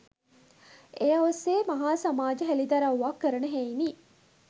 ඒ ඔස්සේ මහා සමාජ හෙලිදරව්වක් කරන හෙයිනි